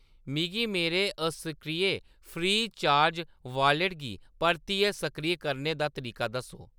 मिगी मेरे असक्रिय फ्री चार्ज वालेट गी परतियै सक्रिय करने दा तरीक दस्सो।